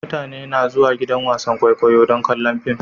Mutane na zuwan gidan wasan kwaikwayo don kallon fim.